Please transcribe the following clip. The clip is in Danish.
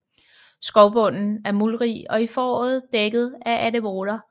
Skovbunden er muldrig og i foråret dækket af anemoner